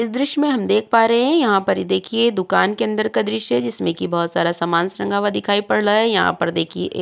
इस दृश्य में हम देख पा रहे हैं यहां पर ये देखिए दुकान के अंदर का दृश्य है जिसमें कि बहोत सारा सामानस टंगा हुआ दिखाई पड़ रहा है। यहां पर देखिए एक --